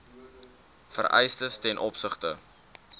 vereistes ten opsigte